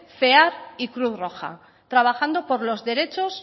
cear y cruz roja trabajando por los derechos